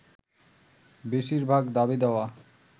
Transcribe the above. বেশির ভাগ দাবি-দাওয়া